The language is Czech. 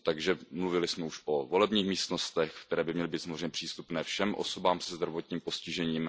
Takže mluvili jsme již o volebních místnostech, které by měly být samozřejmě přístupné všem osobám se zdravotním postižením.